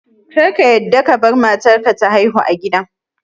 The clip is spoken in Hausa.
Kar ka yadda kabar matar ka ta haihu a gida